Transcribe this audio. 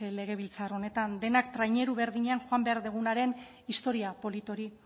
legebiltzar honetan denak traineru berdinean joan behar dugunaren historia polit hori